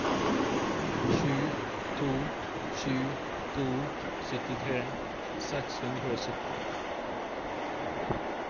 sju to sju to syttitre seks hundre og sytti